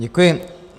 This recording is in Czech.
Děkuji.